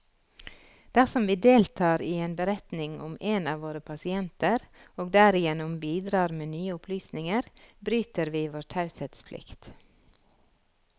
Dersom vi deltar i en beretning om en av våre pasienter, og derigjennom bidrar med nye opplysninger, bryter vi vår taushetsplikt.